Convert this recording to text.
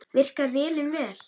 Virkar vélin vel?